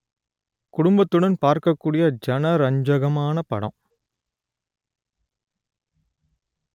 குடும்பத்துடன் பார்க்கக் கூடிய ஜனரஞ்சகமான படம்